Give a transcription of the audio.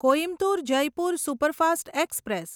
Coimbatore Jaipur superfast express